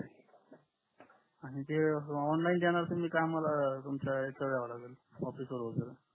आणि ते ऑनलाइन देणार तुम्ही का आम्हाला तुमच्या इथ याव लागल ऑफिस वर वगेरे